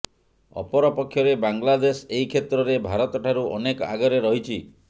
ଅପରପକ୍ଷରେ ବାଂଲାଦେଶ ଏହି କ୍ଷେତ୍ରରେ ଭାରତଠାରୁ ଅନେକ ଆଗରେ ରହିଛି